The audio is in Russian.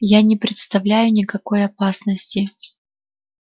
я не представляю никакой опасности